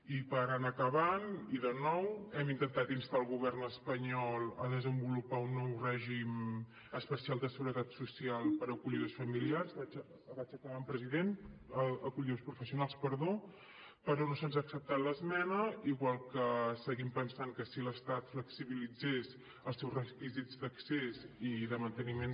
i per anar acabant i de nou hem intentat instar el govern espanyol a desenvolupar un nou règim especial de seguretat social per acollidors professionals vaig acabant president però no se’ns ha acceptat l’esmena igual que seguim pensant que si l’estat flexibilitzés els seus requisits d’accés i de manteniment